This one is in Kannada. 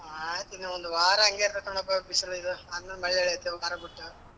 ಆಯ್ತು ಇನ್ನ ಒಂದು ವಾರ ಅಂಗೆ ಇರ್ತತೆ ಕಣಪ್ಪ ಬಿಸಿಲು ಇದ್ ಆಮೇಲ್ ಮಳೆ ಎಳ್ಯತ್ತೆ ಒಂದ್ ವಾರ ಬಿಟ್ಟು.